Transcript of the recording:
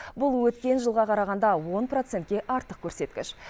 бұл өткен жылға қарағанда он процентке артық көрсеткіш